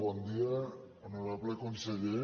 bon dia honorable conseller